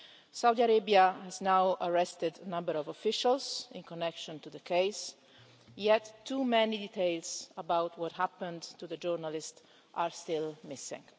Saudi Arabia has now arrested a number of officials in connection with the case, yet too many details about what happened to the journalist are still missing.